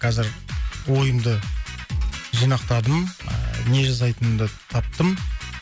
қазір ойымды жинақтадым ыыы не жасайтынымды таптым